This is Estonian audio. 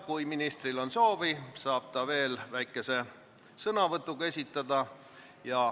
Kui ministril on soovi, saab ta veel esineda väikese sõnavõtuga.